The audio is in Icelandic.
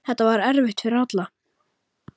Þetta var erfitt fyrir alla.